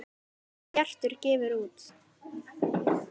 Bjartur gefur út.